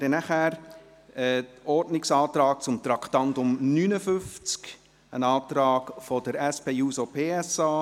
Wir kommen zum Ordnungsantrag zum Traktandum 59, ein Antrag der SP-JUSOPSA.